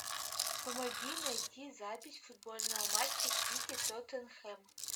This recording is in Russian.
помоги найти запись футбольного матча сити тоттенхэм